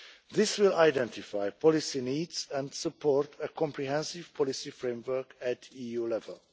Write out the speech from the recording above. This will identify policy needs and support a comprehensive policy framework at EU level.